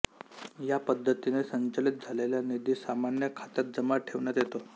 या पद्धतीने संचलित झालेला निधी सामान्य खात्यात जमा ठेवण्यात येतो